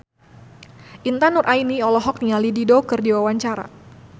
Intan Nuraini olohok ningali Dido keur diwawancara